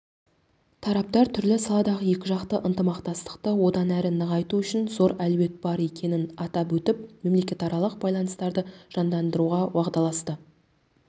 тараптар түрлі салалардағы екіжақты ынтымақтастықты одан әрі нығайту үшін зор әлеует бар екенін атап өтіп мемлекетаралық байланыстарды жандандыруға уағдаласты